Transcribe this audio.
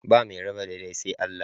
Ba mai raba daidai sai Allah.